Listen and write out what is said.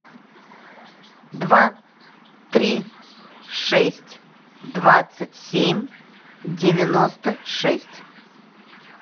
два три шесть двадцать семь девяносто шесть